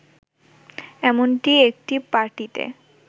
এমনটি একটি পার্টিতে